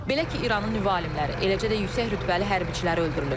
Belə ki, İranın nüvə alimləri, eləcə də yüksək rütbəli hərbçiləri öldürülüb.